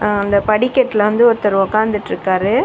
அந்த படிகட்ல வந்து ஒருத்தர் ஒக்காந்துட்ருக்காரு.